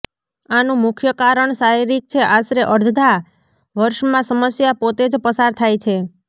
આનું મુખ્ય કારણ શારીરિક છે આશરે અડધા વર્ષમાં સમસ્યા પોતે જ પસાર થાય છે